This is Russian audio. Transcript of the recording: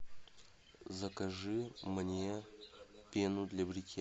закажи мне пену для бритья